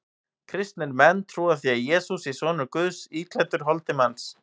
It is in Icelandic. Kristnir menn trúa því að Jesús sé sonur Guðs íklæddur holdi manns.